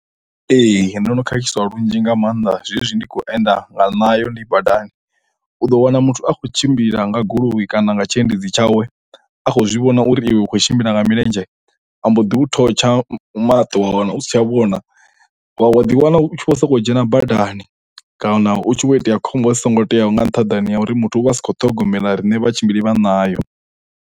Ee ndo no khakhiswa lunzhi nga maanḓa zwezwi ndi kho enda nga ṋayo ndi badani u ḓo wana muthu akho tshimbila nga goloi kana nga tshiendedzi tshawe a khou zwi vhona uri iwe u khou tshimbila nga milenzhe a mboḓi u thotsha maṱo wa wana u si tsha vhona wa ḓi wana u tshi vho soko dzhena badani kana hutshi vho itea khombo dzi songo teaho nga nṱhaḓani ha uri muthu u vha asi kho ṱhogomela riṋe vhatshimbili vha ṋayo.